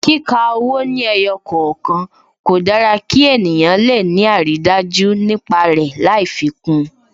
Kíka owó ní ẹyọ kọ̀okan, kò dára kí ènìyàn le ni aridaju nípa rẹ lai fi kún un